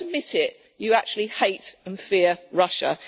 Just admit it you actually hate and fear Russia.